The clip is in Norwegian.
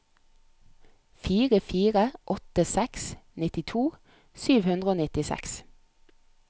fire fire åtte seks nittito sju hundre og nittiseks